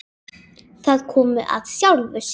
Það kom af sjálfu sér.